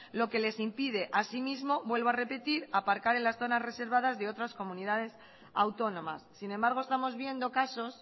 lo que les impide así mismo vuelvo a repetir aparcar en las zonas reservadas de otras comunidades autónomas sin embargo estamos viendo casos